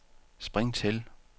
spring til